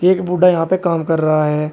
एक बुड्ढा यहां पे काम कर रहा है।